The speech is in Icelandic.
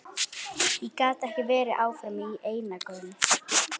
Ég gat ekki verið áfram í einangrun.